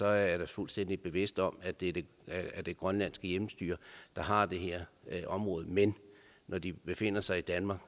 er da fuldstændig bevidst om at det er det grønlandske hjemmestyre der har det her område men når de befinder sig i danmark